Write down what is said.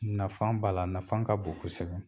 Nafan b'a la, a nafan ka bon kosɛbɛ.